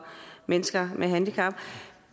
mennesker med handicap